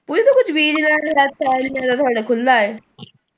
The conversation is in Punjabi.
ਉਹਦੇ ਚ ਕੁੱਝ ਬੀਜ ਲਿਆ ਕਰ ਖੁੱਲਾ ਹੈ।